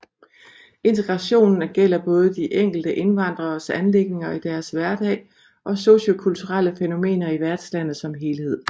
Integrationen gælder både de enkelte indvandreres anliggender i deres hverdag og sociokulturelle fænomener i værtslandet som helhed